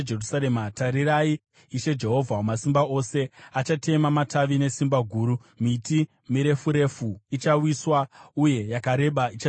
Tarirai, Ishe, Jehovha Wamasimba Ose, achatema matavi nesimba guru. Miti mirefu refu ichawiswa, uye yakareba ichadzikiswa.